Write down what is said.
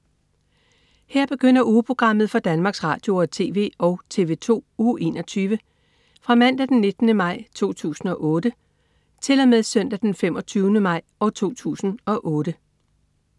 Her begynder ugeprogrammet for Danmarks Radio- og TV og TV2 Uge 21 Fra Mandag den 19. maj 2008 Til Søndag den 25. maj 2008